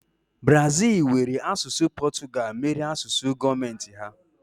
Brazil were asụsụ Portugal mere asụsụ gọọmenti ha.